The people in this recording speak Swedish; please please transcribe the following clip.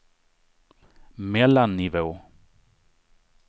mellannivå